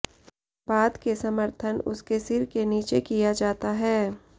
बाद के समर्थन उसके सिर के नीचे किया जाता है